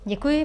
Děkuji.